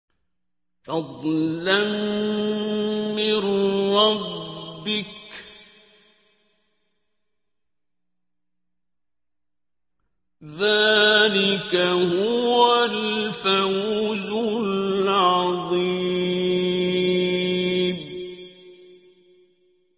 فَضْلًا مِّن رَّبِّكَ ۚ ذَٰلِكَ هُوَ الْفَوْزُ الْعَظِيمُ